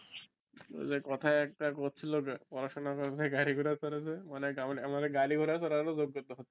ওই যে কথাই একটা কইছিল না পড়াশোনা করে যে গারি ঘোড়া চড়ে যে, মানে আমারে গারি ঘোড়া চরার ও যোগ্যতা হচ্ছে না